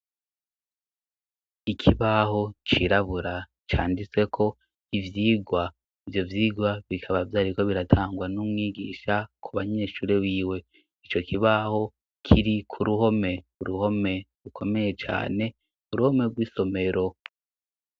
Ikibaho cirabura canditse ko ivyigwa vyo vyigwa bikaba vyariko biratangwa n'umwigisha ku banyeshure biwe i co kibaho kiri ku ruhome uruhome ukomeye cane ku ruhome rw'isomero.